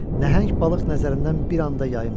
Nəhəng balıq nəzərindən bir anda yayınmırdı.